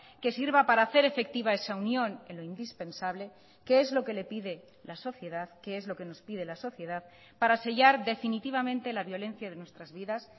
que sirva para hacer efectiva esa unión en lo indispensable que es lo que le pide la sociedad que es lo que nos pide la sociedad para sellar definitivamente la violencia de nuestras vidas